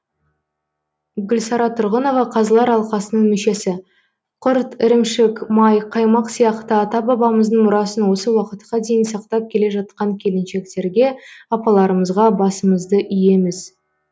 гүлсара тұрғынова қазылар алқасының мүшесі құрт ірімшік май қаймақ сияқты ата бабамыздың мұрасын осы уақытқа дейін сақтап келе жатқан келіншектерге апаларымызға басымызды иеміз